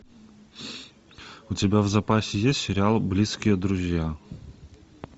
у тебя в запасе есть сериал близкие друзья